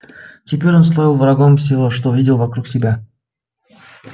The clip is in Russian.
теперь он стал врагом всего что видел вокруг себя